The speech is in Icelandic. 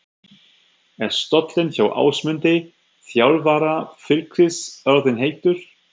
Er stóllinn hjá Ásmundi, þjálfara Fylkis orðinn heitur?